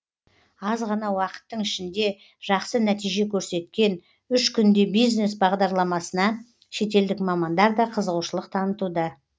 аз ғана уақыттың ішінде жақсы нәтиже көрсеткен үш күнде бизнес бағдарламасына шетелдік мамандар да қызығушылық танытуда